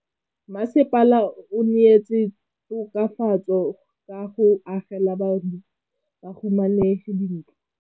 Mmasepala o neetse tokafatsô ka go agela bahumanegi dintlo.